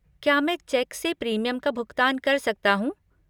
क्या मैं चेक से प्रीमियम का भुगतान कर सकता हूँ?